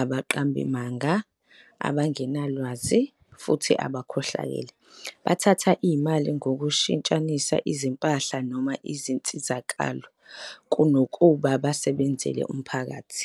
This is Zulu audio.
abaqambimanga, abangenalwazi, futhi abakhohlakele, bathatha imali ngokushintshanisa izimpahla noma izinsizakalo, kunokuba basebenzele umphakathi.